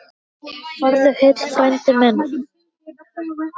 Farðu heill, frændi minn.